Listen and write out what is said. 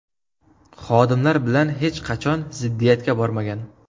Xodimlar bilan hech qachon ziddiyatga bormagan.